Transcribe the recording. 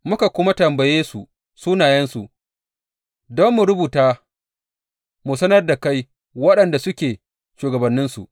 Muka kuma tambaye su sunayensu don mu rubuta mu sanar da kai waɗanda suke shugabanninsu.